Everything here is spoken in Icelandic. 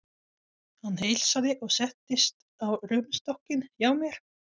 Hann heilsaði og settist á rúmstokkinn hjá mér.